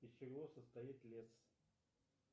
из чего состоит лес